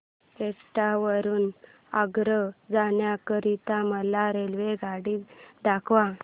एटा वरून आग्रा जाण्या करीता मला रेल्वेगाडी दाखवा